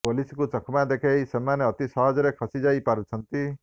ପୋଲିସକୁ ଚକମା ଦେଖେଇ ସେମାନେ ଅତି ସହଜରେ ଖସି ଯାଇପାରୁଛନ୍ତି